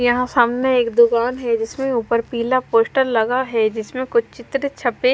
यहाँ सामने एक दुकान है जिसमे ऊपर पीला पोस्टर लगा है जिसमे कुछ चित्र छपे--